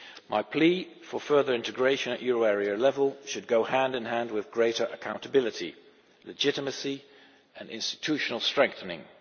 My plea for further integration at euro area level should go hand in hand with greater accountability, legitimacy and institutional strengthening.